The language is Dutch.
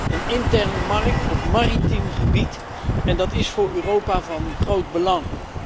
Een interne markt op maritiem gebied, en dat is voor Europa van groot belang.